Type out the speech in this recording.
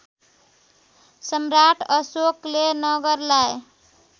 सम्राट अशोकले नगरलाई